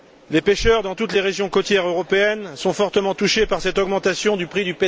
Les pêcheurs, dans toutes les régions côtières européennes, sont fortement touchés par cette augmentation du prix